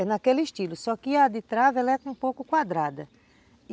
É naquele estilo, só que a de trave ela é um pouco quadrada.